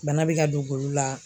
Bana bɛ ka don golo la